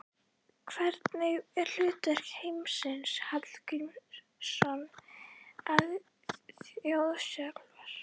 Hvernig er hlutverk Heimis Hallgrímssonar aðstoðarþjálfara?